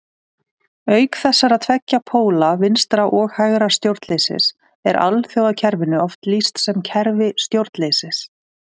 Auk þessara tveggja póla vinstra- og hægra stjórnleysis er alþjóðakerfinu oft lýst sem kerfi stjórnleysis.